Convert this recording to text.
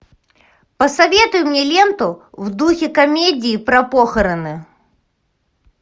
посоветуй мне ленту в духе комедии про похороны